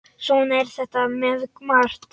Svona er þetta með margt.